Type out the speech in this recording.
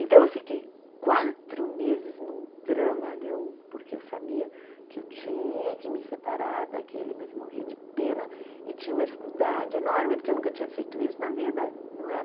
Então eu fiquei quatro meses num dramalhão, porque eu sabia que eu tinha que me separar daquele, mas eu morria de pena e tinha uma dificuldade enorme, porque eu nunca tinha feito isso na vida, não é?